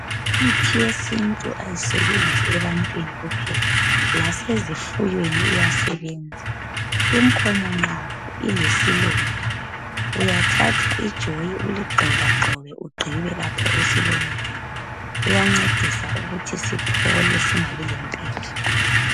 Imithi yesintu ayisebenzi ebantwini kuphela lasezifuyweni iyasebenza. Inkomo nxa ilesilonda uyathatha ijoyi uligxobagxobe ugqibe lapho esilondeni, kuyancedisa ukuthi siphole singabi lempethu.